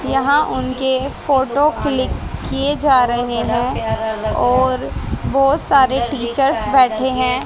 यहां उनके photo click किया जा रहे हैं और बहोत सारे टीचर्स बैठे हैं।